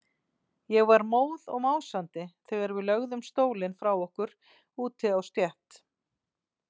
Ég var móð og másandi þegar við lögðum stólinn frá okkur úti á stétt.